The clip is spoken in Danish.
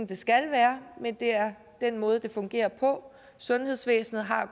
det skal være men det er den måde det fungerer på sundhedsvæsenet har